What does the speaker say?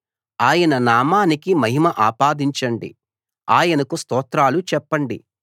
ఆయన నామానికి మహిమ ఆపాదించండి ఆయనకు స్తోత్రాలు చెప్పండి